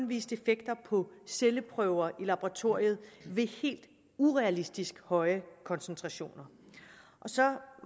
vist effekter på celleprøver i laboratoriet ved helt urealistisk høje koncentrationer så